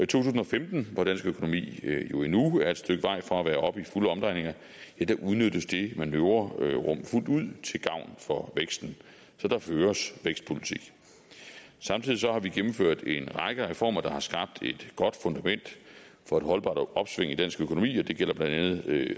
tusind og femten hvor dansk økonomi jo endnu er et stykke vej fra at være oppe i fulde omdrejninger udnyttes det manøvrerum fuldt ud til gavn for væksten så der føres vækstpolitik samtidig har vi gennemført en række reformer der har skabt et godt fundament for et holdbart opsving i dansk økonomi det gælder blandt andet